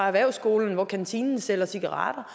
erhvervsskolen hvor kantinen sælger cigaretter